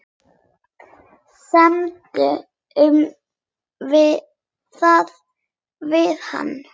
Semdu um það við hann.